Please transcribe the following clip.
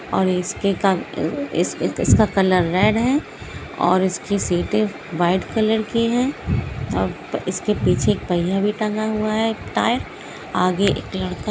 और इसके इसका कलर रेड है और इसकी सीटे व्हाइट कलर की है इसके पीछे एक पहिया भी टांगा हुआ है एक टायर आगे एक लड़का --